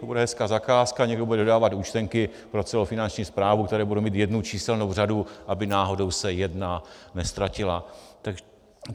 To bude hezká zakázka, někdo bude vydávat účtenky pro celou Finanční správu, která bude mít jednu číselnou řadu, aby náhodou se jedna neztratila.